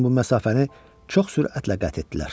Lakin bu məsafəni çox sürətlə qət etdilər.